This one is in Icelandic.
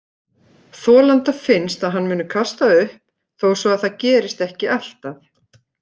Þolanda finnst að hann muni kasta upp, þó svo að það gerist ekki alltaf.